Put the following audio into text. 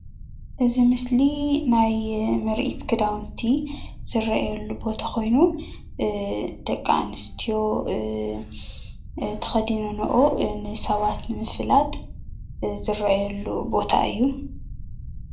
እዚ ምስሊ ናይ ምርኢት ክዳውንቲ ዝረአየሉ ቦታ ኮይኑ ደቂ ኣንስትዮ ተከዲነንኦ ንሰባት ብምፍላጥ ዝረአየሉ ቦታ እዩ፡፡